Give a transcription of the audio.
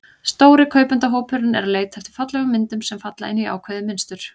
Stóri kaupendahópurinn er að leita eftir fallegum myndum, sem falla inn í ákveðið mynstur.